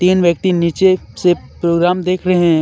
तीन व्यक्ति नीचे से प्रोग्राम देख रहे--